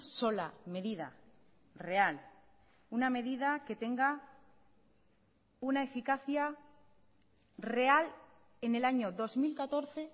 sola medida real una medida que tenga una eficacia real en el año dos mil catorce